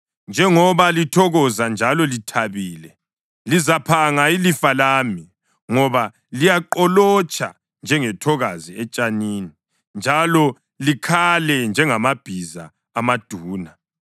“Njengoba lithokoza njalo lithabile, lizaphanga ilifa lami ngoba liyaqolotsha njengethokazi etshanini, njalo likhale njengamabhiza amaduna,